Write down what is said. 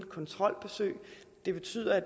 kontrolbesøg det betyder at